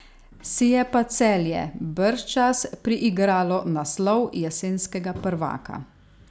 Si je pa Celje bržčas priigralo naslov jesenskega prvaka.